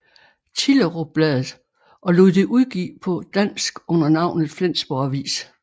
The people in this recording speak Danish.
Thillerup bladet og lod det udgive på dansk under navnet Flensborg Avis